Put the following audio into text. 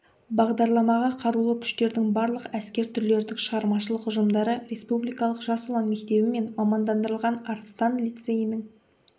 бағдарламаға қарулы күштердің барлық әскер түрлерінің шығармашылық ұжымдары республикалық жас ұлан мектебі мен мамандандырылған арыстан лицейінің